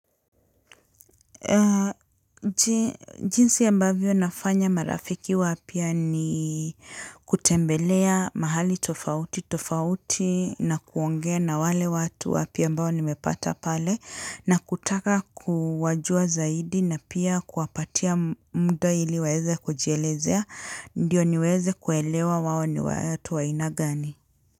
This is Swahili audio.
Jinsi ambavyo nafanya marafiki wapya ni kutembelea mahali tofauti na kuongea na wale watu wapya ambao nimepata pale na kutaka kuwajua zaidi na pia kuwapatia muda ili waweze kujielezea ndiyo niweze kuelewa wawo ni watu wa ainagani.